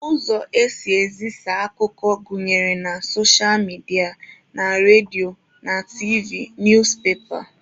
Ụzọ esị ezisa akụkọ gụnyere na socha midia, na redio na tiivi, newspepa wdg.